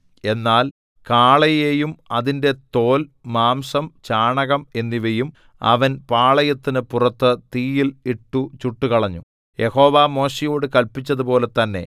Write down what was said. എന്നാൽ കാളയെയും അതിന്റെ തോൽ മാംസം ചാണകം എന്നിവയും അവൻ പാളയത്തിനു പുറത്തു തീയിൽ ഇട്ടു ചുട്ടുകളഞ്ഞു യഹോവ മോശെയോടു കല്പിച്ചതുപോലെ തന്നെ